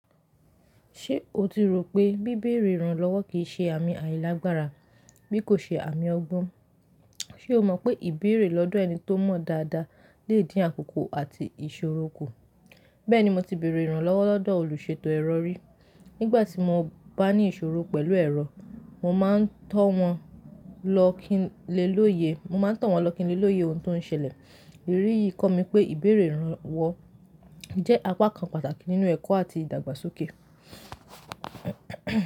Ṣé o ti rò pé bíbèrè ìrànlọ́wọ́ kìí ṣe àmì àìlágbára bí kò ṣe àmì ọgbọ́n? Ṣé o mọ̀ pé ìbèrè lọ́dọ̀ ẹni tó mọ̀ dáadáa lè dín àkókò àti ìṣòro kù? Bẹ́ẹ̀ni, mo ti bèrè ìrànlọ́wọ́ lọ́dọ̀ olùṣètò ẹ̀rọ rí. Nígbà tí mo bá ní ìṣòro pẹ̀lú ẹ̀rọ, mo máa ń tọ̀ wọ́n lọ́ kin lé l'óye, mo máa ń tọ̀ wọ́n lọ́ kin lé l'óye ohun tó ń ṣẹlẹ̀. Èyí yìí kọ́ mi pé ìbèrè ìrànlọ́wọ́ jẹ́ apá kan pàtàkì nínú ẹ̀kọ́ àti ìdàgbàsókè.